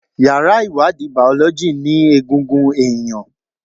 Yàrá ìwádìí Bàọ́lọ́jì ní egungun ẹ̀yàn.